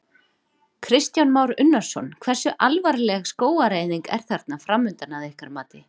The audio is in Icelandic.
Kristján Már Unnarsson: Hversu alvarleg skógareyðing er þarna framundan að ykkar mati?